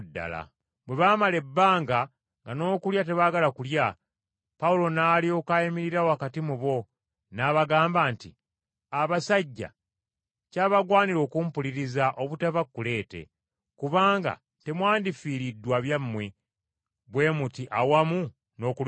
Bwe baamala ebbanga nga n’okulya tebaagala kulya, Pawulo n’alyoka ayimirira wakati mu bo, n’abagamba nti, “Abasajja kyabagwanira okumpuliriza obutava Kuleete, kubanga temwandifiiriddwa byammwe bwe muti awamu n’okulumizibwa!